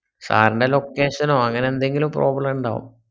sir ന്റ്റെ location നോ അങ്ങനെന്തെങ്കിലും problem ണ്ടോ